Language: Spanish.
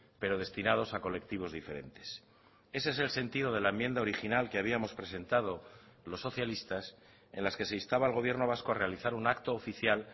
pero destinados a colectivos diferentes ese es el sentido de la enmienda original que habíamos presentado los socialistas en las que se instaba al gobierno vasco a realizar un acto oficial